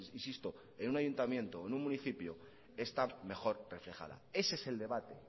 insisto en un ayuntamiento o en un municipio está mejor reflejada ese es el debate